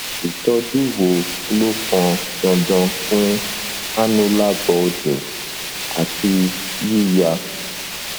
ìtọjú wo ló pọn dandan fún annular bulging àti yíya